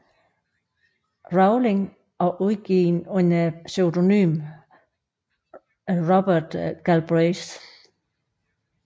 Rowling og udgivet under pseudonym Robert Galbraith